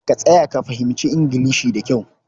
Ka tsaya ka fahimci Ingilishi da kyau.